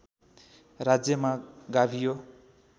राज्यमा गाभियो